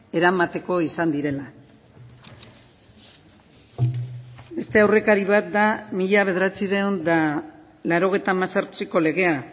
eramateko izan direla beste aurrekari bat da mila bederatziehun eta laurogeita hemezortziko legea